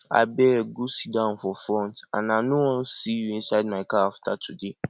abeg go sit down for front and i no wan see you inside my car after today